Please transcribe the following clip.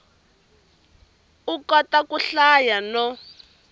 u kota ku hlaya no